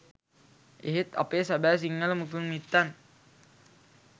එහෙත් අපේ සැබෑ සිංහල මුතුන් මිත්තන්